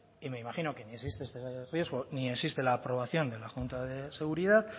y me imagino que ni existe este riesgo ni en existe la aprobación de la junta de seguridad